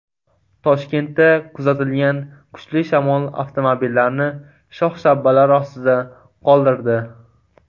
Toshkentda kuzatilgan kuchli shamol avtomobillarni shox-shabbalar ostida qoldirdi.